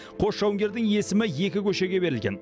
қос жауынгердің есімі екі көшеге берілген